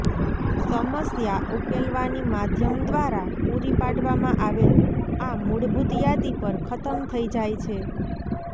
સમસ્યા ઉકેલવાની માધ્યમ દ્વારા પૂરી પાડવામાં આવેલ આ મૂળભૂત યાદી પર ખતમ થઈ જાય છે